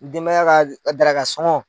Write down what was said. Denbaya ka daraka sɔngɔn.